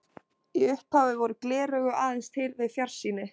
Í upphafi voru gleraugu aðeins til við fjarsýni.